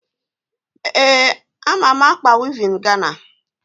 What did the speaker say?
Ee, ama m ákpà wivin Gana.